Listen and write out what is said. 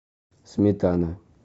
сметана